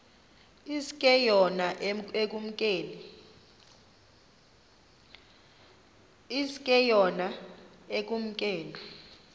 iske yona ekumkeni